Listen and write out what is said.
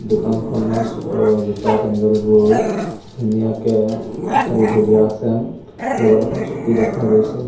দোকানখনত অ জোতা চেণ্ডেলবোৰ ধুনীয়াকে শাৰী থৈ দিয়া আছে লগত এখন চকী দেখা গৈছে।